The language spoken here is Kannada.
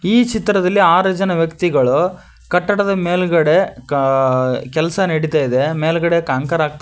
ಈ ಚಿತ್ರದಲ್ಲಿ ಆರು ಜನ ವ್ಯಕ್ತಿಗಳು ಕಟ್ಟಡದ ಮೇಲ್ಗಡೆ ಕ ಕೆಲಸ ನಡಿತಾ ಇದೆ ಮೇಲ್ಗಡೆ ಕಾಂಕರ್ ಹಾಕ್ತಾ ಇದ್ದಾರೆ.